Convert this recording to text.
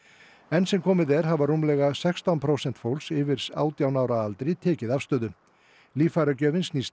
enn sem komið er hafa rúmlega sextán prósent fólks yfir átján ára aldri tekið afstöðu líffæragjöfin snýst